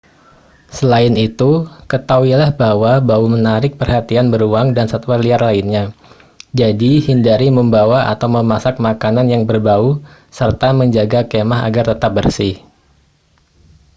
selain itu ketahuilah bahwa bau menarik perhatian beruang dan satwa liar lainnya jadi hindari membawa atau memasak makanan yang berbau serta menjaga kemah agar tetap bersih